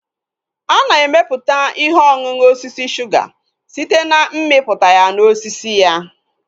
Ana emeputa ihe ọṅụṅụ osisi suga site na mmiputa ya na osisi ya